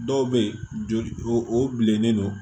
Dɔw bɛ yen joli o bilennen don